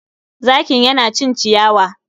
zakin ya na cin ciyawa.